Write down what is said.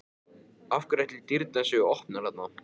Af hverju ætli dyrnar séu opnar þarna?